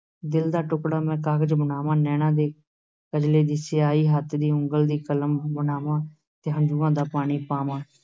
ਦਿਲ ਦਾ ਟੁਕੜਾ ਮੈਂ ਕਾਗ਼ਜ ਬਣਾਵਾਂ, ਨੈਣਾਂ ਦੇ ਕਜਲੇ ਦੀ ਸਿਆਹੀ, ਹੱਥ ਦੀ ਉਂਗਲ ਦੀ ਕਲਮ ਬਣਾਵਾਂ, ਤੇ ਹੰਝੂਆਂ ਦਾ ਪਾਣੀ ਪਾਵਾਂ।